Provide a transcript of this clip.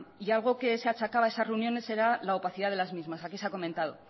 y algo que se achacaba a esas reuniones era la opacidad de las mismas aquí se ha comentado